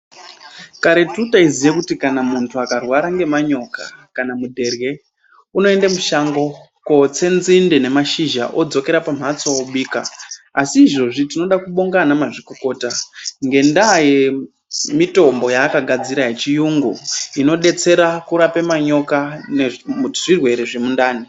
Kareti taiziye kuti kana muntu akarwara ngemanyoka kana mudherye. Unoenda mushango kotsa nzinde nemashizha odzokera pamwatso obika. Asi izvozvi tinoda kubonga ana mazvikokota ngendaa yemitombo yaakadadzira yechiyungu inobetsera kurape manyoka nezvirwere zvemundani.